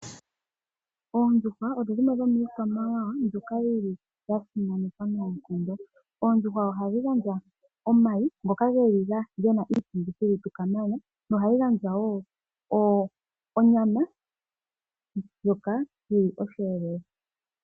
Oondjuhwa odho dhimwe dhomiikwamawawa mbyoka ya simanekwa noonkondo. Oondjuhwa ohadhi gandja omayi ngoka ge na iitungithilutu kamana nohadhi gandja wo onyama ndjoka yi li osheelelwa.